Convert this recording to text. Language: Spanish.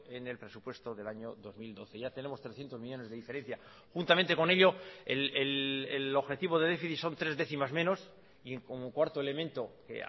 en el presupuesto del año dos mil doce ya tenemos trescientos millónes de diferencia juntamente con ello el objetivo de déficit son tres décimas menos y como cuarto elemento que